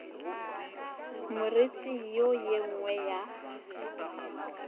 moriti wo ye nngwe ya